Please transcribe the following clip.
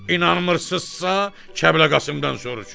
İnanmırsınızsa, Kəblə Qasımdan soruşun.